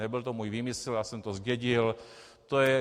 Nebyl to můj výmysl, já jsem to zdědil.